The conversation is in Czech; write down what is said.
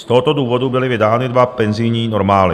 Z tohoto důvodu byly vydány dva penzijní normály.